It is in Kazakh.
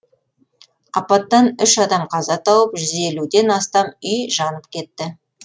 апаттан үш адам қаза тауып жүз елуден астам үй жанып кеткен